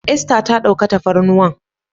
Esther ta ɗauka tafarnuwan.